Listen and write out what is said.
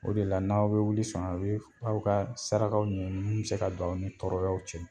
O de la n'aw bɛ wuli sɔn a' be f aw ka sarakaw min bɛ se ka don aw ni tɔɔrɔyaw cɛ.